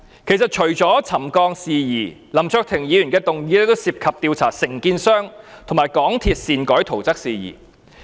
其實，除了有關沉降的事宜，林卓廷議員的議案亦涉及調查承建商和港鐵公司擅改圖則的事宜。